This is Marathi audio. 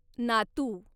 नातू